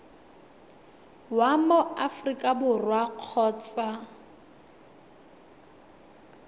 wa mo aforika borwa kgotsa